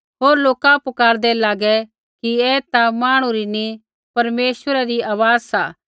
होर लोका पुकारदै लागै कि ऐ ता मांहणु रा नी परमेश्वरा री आवाज़ सा